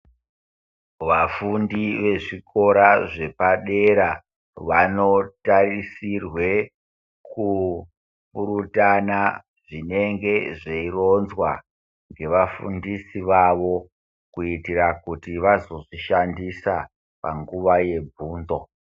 Vafundi vezvikora zvepadera vanotarisirwe kubutana zvinenge zveyironzwa nevafundisi vavo ,kuitira kuti vazozvishandisa panguva yebvunzo.